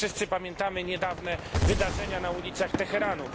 Wszyscy pamiętamy niedawne wydarzenia na ulicach Teheranu.